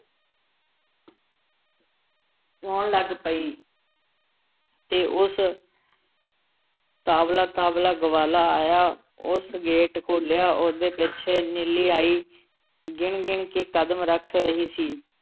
ਰੋਣ ਲੱਗ ਪਈ। ਅਤੇ ਉਸ ਤਾਵਲਾ-ਤਾਵਲਾ ਗਵਾਲਾ ਆਇਆ । ਉਸ ਗੇਟ ਖੋਲ੍ਹਿਆ । ਉਹਦੇ ਪਿੱਛੇ ਨੀਲੀ ਆਈ । ਗਿਣ-ਗਿਣ ਕੇ ਕਦਮ ਰੱਖ ਰਹੀ ਸੀ ।